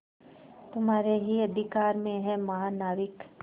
तुम्हारे ही अधिकार में है महानाविक